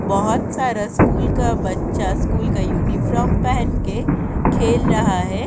बोहोत सारा स्कूल का बच्चा स्कूल का यूनिफ्रॉम पहन के खेल रहा हैं।